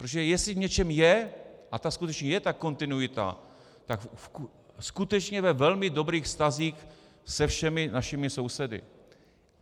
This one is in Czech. Protože jestli v něčem je, a ta skutečně je, ta kontinuita, tak skutečně ve velmi dobrých vztazích se všemi našimi sousedy.